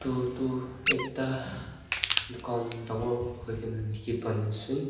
aru etu ekta dukan dangor hoi ke na dikhi pai ase.